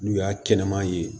N'u y'a kɛnɛman ye